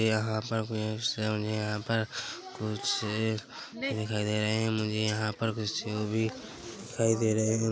यहाँ पर सेब नही यहाँ पर कुछः सेब भी दिखाई दे रहे है मुझे यहाँ पर कुछः सेब भी दिखाई दे रहे हैं ।